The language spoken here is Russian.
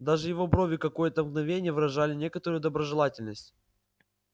даже его брови какое-то мгновение выражали некоторую доброжелательность